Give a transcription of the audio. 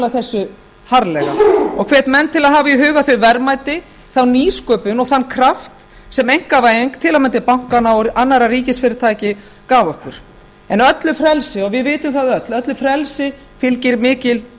þessu harðlega og hvet menn til að hafa í huga þau verðmæti þá nýsköpun og þann kraft sem einkavæðing til að mynda bankanna og annarra ríkisfyrirtækja gaf okkur en öllu frelsi og við vitum það öll öllu frelsi fylgir mikil